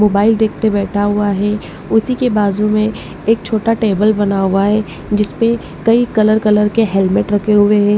Mobile देख ते बैठा हुआ है उसी के बाजू में एक छोटा टेबल बना हुआ है जिस परे कई कलर कलर के हेलमेट रखे हुए हैं।